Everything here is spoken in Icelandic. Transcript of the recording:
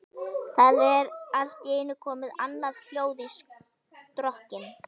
Það er allt í einu komið annað hljóð í strokkinn.